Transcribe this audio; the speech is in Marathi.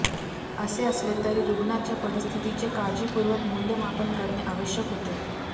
असे असले तरी रुग्णाच्या परिस्थितीचे काळजीपूर्वक मूल्यमापन करणे आवश्यक होते